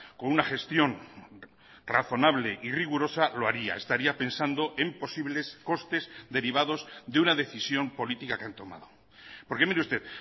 con una gestión razonable y rigurosa lo haría estaría pensando en posibles costes derivados de una decisión política que han tomado porque mire usted